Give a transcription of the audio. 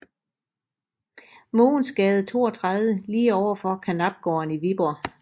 Mogens Gade 32 lige overfor Karnapgården i Viborg